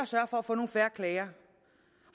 sørge for at få færre klager